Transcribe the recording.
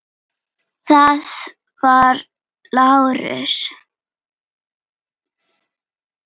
Það var Lárus.